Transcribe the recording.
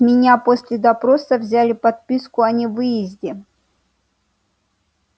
с меня после допроса взяли подписку о невыезде